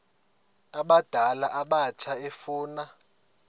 abadala abatsha efuna